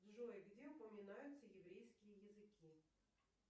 джой где упоминаются еврейские языки